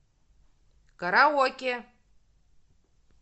караоке